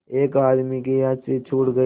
एक आदमी की हँसी छूट गई